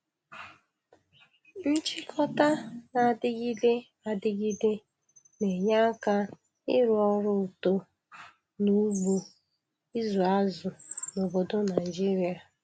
Nchịkọta na-adịgide adịgide na-enye aka ịrụ ọrụ uto n' ugbo ịzụ azụ n'obodo Naịjirịa.